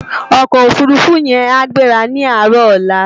Òkò ófúrúfú yèn á gbérá ni àárò òlá